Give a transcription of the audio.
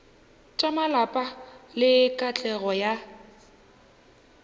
tša malapa le katlego ya